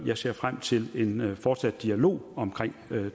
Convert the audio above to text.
jeg ser frem til en fortsat dialog omkring